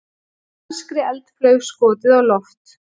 Danskri eldflaug skotið á loft